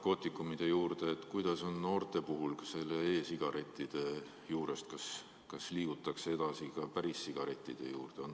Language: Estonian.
Kas on ka mingeid selliseid andmeid, kuidas on noorte puhul, kas ka e‑sigarettide juurest liigutakse edasi päris sigarettide juurde?